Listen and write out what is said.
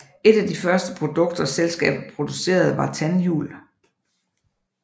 Et af de første produkter selskabet producerede var tandhjul